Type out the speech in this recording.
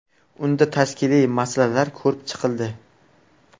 Unda tashkiliy masalalar ko‘rib chiqildi.